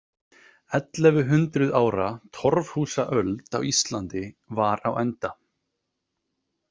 Ellefu hundruð ára torfhúsaöld á Íslandi var á enda.